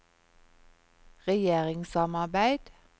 regjeringssamarbeid